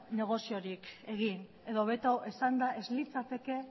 negoziorik egin edo hobeto esanda ez litzateke